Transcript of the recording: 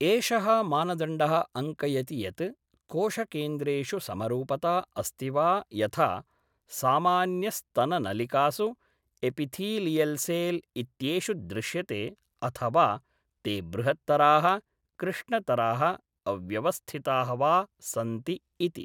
एषः मानदण्डः अङ्कयति यत् कोशकेन्द्रेषु समरूपता अस्ति वा यथा सामान्यस्तननलिकासु एपिथीलियल्सेल् इत्येषु दृश्यते अथवा ते बृहत्तराः, कृष्णतराः, अव्यवस्थिताः वा सन्ति इति।